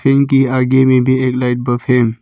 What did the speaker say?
इनकी आगे में भी एक लाइट --